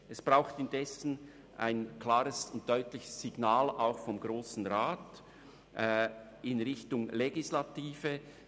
Es braucht indessen auch ein klares und deutliches Signal vonseiten des Grossen Rats in Richtung Exekutive.